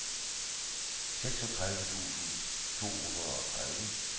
seksogtredive tusind to hundrede og tredive